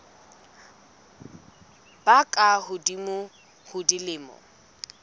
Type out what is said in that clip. ba ka hodimo ho dilemo